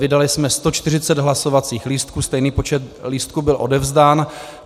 Vydali jsme 140 hlasovacích lístků, stejný počet lístků byl odevzdán.